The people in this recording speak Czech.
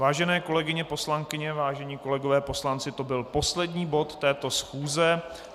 Vážené kolegyně poslankyně, vážení kolegové poslanci, to byl poslední bod této schůze.